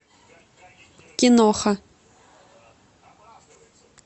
киноха